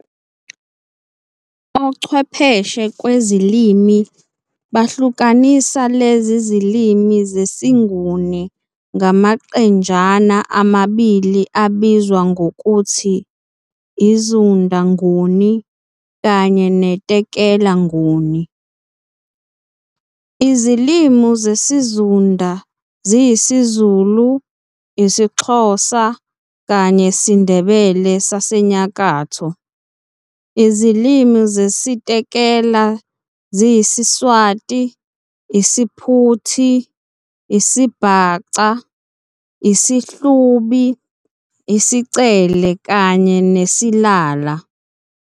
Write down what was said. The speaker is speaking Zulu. Ochwepheshe kwezezilimi bahlukanisa lezi zilimi zesiNguni ngamaqenjana amabili abizwa ngokuthi i"Zunda Nguni" kanye ne "Tekela Nguni". Izilimi zesiZunda ziyisiZulu, IsiXhosa kanyene siNdebele sasenyakatho Izilimi zesiTekela ziyisiSwati, IsiPhuti, IsiBhaca, IsiHlubi, IsiCele kanye nesiLala